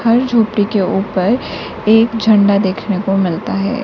हर झोपड़ी के ऊपर एक झंडा देखने को मिलता है।